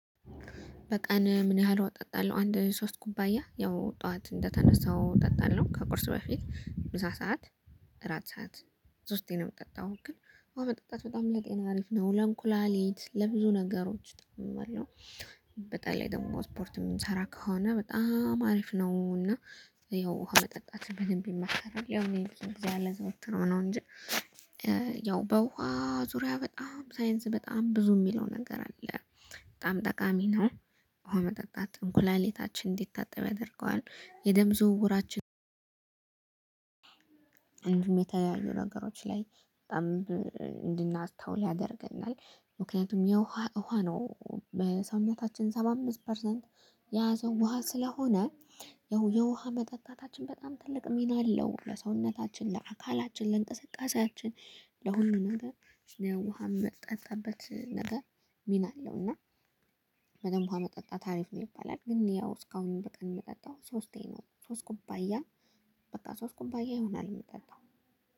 በቀን ምን ያህል ውሃ አጠጣለሁ? አንድ ሶስት ኩባያ ያው ጠዋት እንደተነሳው አጠጣለሁ። ከቁርሱ በፊ፣ ምሳ ሰዓት፣ እራት ሰዓት ሶስቴን ነው ምጠጣው። ግን ውሃ መጠጣት በጣም ለጤና አሪፍ ነው ለእንኩላሊት ለብዙ ነገሮች እጠቀማለሁ በጣ ላይ ደግሞ እስፖርት የምንሰራ ከሆነ? በጣም አሪፍ ነው እና ያው ውሃ መጠጣት በደንብ ይመከራል። ያው እኔ እዚህ ያለ ዘውትሮ ነው እንጂ ያው በውሃ ዙሪያ በጣም ሳይንስ በጣም ብዙ የሚለው ነገር አለ። በጣም ጠቃሚ ነው። ውሃ መጠጣት እንኩላሌታችን እንዲታጠብ ያደርገዋል፤ የደም ዝውውራችን እንዲሁም የተያዩ ነገሮች ላይ በጣም እንድናስታውል ያደርገናል። ምክንያቱም የውሃ ውሃ ነው በሰውነታችን ሰባ አምስት ፐርሰንት የያዘው ውሃ ስለሆነ ያው የውሃ መጠጣታችን በጣም ትልቅ ሚና አለ። ለሰውነታችን፣ ለአካላችን፣ ለእንቅስቃሴያችን፣ ለሁሉም ነገር ለውሃ መጠጣበት ነገር ሚና አለው። እና በደንብ ውሃ መጠጣት አሪፍ ነው። ይባላል። ግን ያው እስካሁንም በቀን የምጠጣው ሶስቴ ሶስት ኩባያ በቃ ሶስት ኩባያ ይሆናል። የሚጠጣው